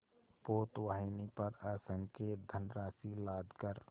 पोतवाहिनी पर असंख्य धनराशि लादकर